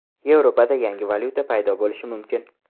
Yevropada yangi valyuta paydo bo‘lishi mumkin.